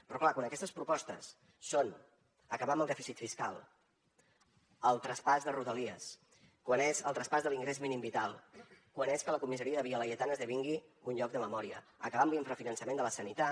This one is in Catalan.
però clar quan aquestes propostes són acabar amb el dèficit fiscal el traspàs de rodalies quan és el traspàs de l’ingrés mínim vital quan és que la comissaria de via laietana esdevingui un lloc de memòria acabar amb l’infrafinançament de la sanitat